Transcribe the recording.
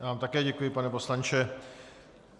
Já vám také děkuji, pane poslanče.